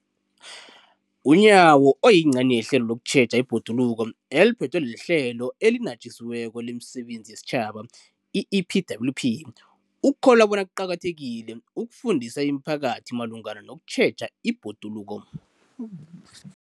UNyawo, oyingcenye ye hlelo lokutjheja ibhoduluko eliphethwe liHlelo eliNatjisiweko lemiSebenzi yesiTjhaba, i-EPWP, ukholelwa bona kuqakathekile ukufundisa imiphakathi malungana nokutjheja ibhoduluko.